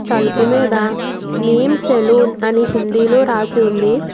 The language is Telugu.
తలుపు మీద నేమ్స్ సెలూన్ అని హిందీలో రాసి ఉంది.